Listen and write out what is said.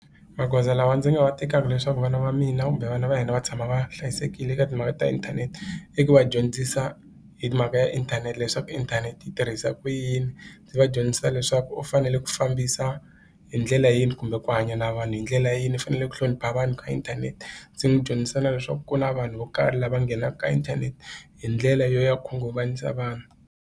Magoza lawa ndzi nga wa tekaka leswaku vana va mina kumbe vana va hina va tshama va hlayisekile eka timhaka ta inthanete i ku va dyondzisa hi mhaka ya inthanete leswaku inthanete yi tirhisa ku yini ndzi va dyondzisa leswaku va fanele ku fambisa hi ndlela yini kumbe ku hanya na vanhu hi ndlela leyi ni fanele ku hlonipha vanhu ka inthanete ndzi n'wi dyondzisa na leswaku ku na vanhu vo karhi lava nghenaka ka inthanete hi ndlela yo ya khunguvanyisa vanhu.